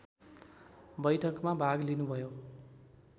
बैठकमा भाग लिनुभयो